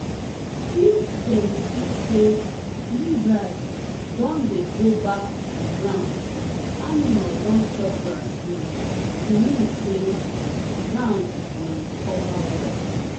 if dem see say lizard don dey go back to ground animal don chop grass finish e mean say ground dey recover well